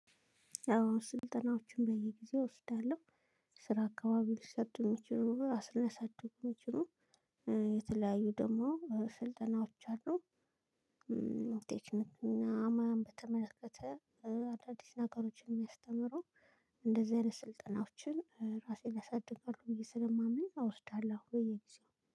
አዎ ስልጠናዎችን በየጊዜው እወስዳለሁ። ስራ አካባቢ ሊሰጡ የሚችሉ ሊያሳድጉ የሚችሉ የተለያዩ ደግሞ ስልጠናዎች አሉ። እንዴት ነው እና ሙያን በተመለከተ አዳዲስ ነገሮችን የሚያስተምረው እንደዚህ አይነት ስልጠናዎችን ራሴን ያሳድጋሉ ብዬ ስለማምን እወስዳለሁ ወይ የጊዜው